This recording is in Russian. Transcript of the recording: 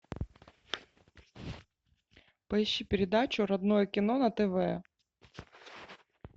поищи передачу родное кино на тв